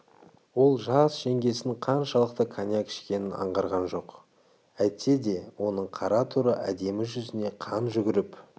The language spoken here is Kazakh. ол жас жеңгесінің қаншалықты коньяк ішкенін аңғарған жоқ әйтсе де оның қара торы әдемі жүзіне қан жүгіріп